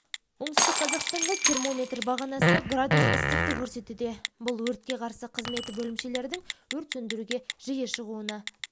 оңтүстік қазақстанда термометр бағанасы градус ыстықты көрсетуде бұл өртке қарсы қызметі бөлімшелерінің өрт сөндіруге жиі шығуына